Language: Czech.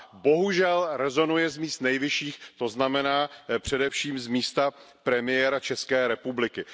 Bohužel rezonuje z míst nejvyšších, to znamená především z místa premiéra České republiky.